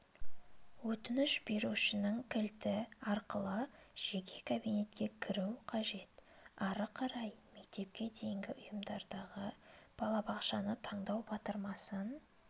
өтініш берушінің кілті арқылы жеке кабинетке кіру қажет ары қарай мектепке дейінгі ұйымдардағы балабақшаны таңдау батырмасын